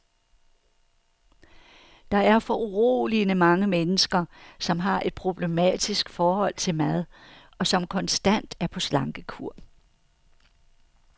Der er foruroligende mange mennesker, som har et problematisk forhold til mad, og som konstant er på slankekur.